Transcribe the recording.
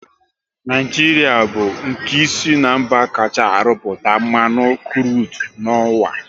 Naijiria bu nke isii na mba kachaa arụpụta mmanụ krudu n'uwa